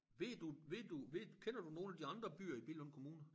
Ved du ved du ved du kender du nogle af de andre byer i Billund Kommune?